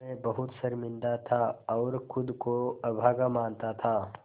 मैं बहुत शर्मिंदा था और ख़ुद को अभागा मानता था